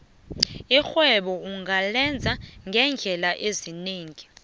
irhwebo ungalenza ngeendlela ezinengi